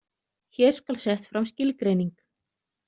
Hér skal sett fram skilgreining.